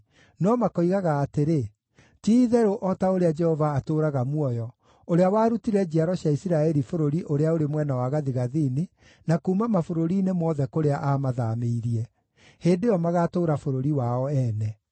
no makoigaga atĩrĩ, ‘Ti-itherũ, o ta ũrĩa Jehova atũũraga muoyo, ũrĩa warutire njiaro cia Isiraeli bũrũri ũrĩa ũrĩ mwena wa gathigathini, na kuuma mabũrũri-inĩ mothe kũrĩa aamathaamĩirie.’ Hĩndĩ ĩyo magaatũũra bũrũri wao ene.”